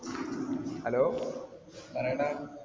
Hello പറയെടാ.